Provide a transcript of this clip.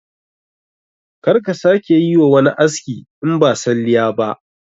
Kar ka sake ka yi wani aski in ba salliya ba